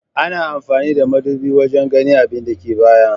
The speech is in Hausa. Ana amfani da madubi wajan ganin abinda ke baya